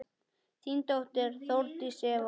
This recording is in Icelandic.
Þín dóttir, Þórdís Eva.